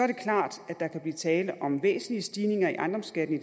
klart at der kan blive tale om væsentlige stigninger i ejendomsskatten i